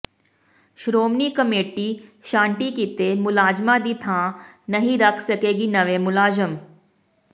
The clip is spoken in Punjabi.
ਸ਼੍ਰੋਮਣੀ ਕਮੇਟੀ ਛਾਂਟੀ ਕੀਤੇ ਮੁਲਾਜ਼ਮਾਂ ਦੀ ਥਾਂ ਨਹੀਂ ਰੱਖ ਸਕੇਗੀ ਨਵੇਂ ਮੁਲਾਜ਼ਮ